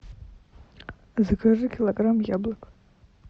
закажи килограмм яблок